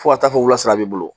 Fo ka taa fɔ wula b'i bolo